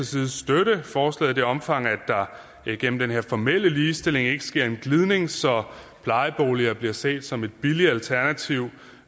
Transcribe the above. side støtte forslaget i det omfang der igennem den her formelle ligestilling ikke sker en glidning så plejeboliger bliver set som et billigt alternativ